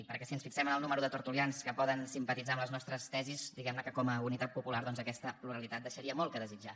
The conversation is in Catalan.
perquè si ens fixem en el número de tertulians que poden simpatitzar amb les nostres tesis diguem ne que com a unitat popular doncs aquesta pluralitat deixaria molt a desitjar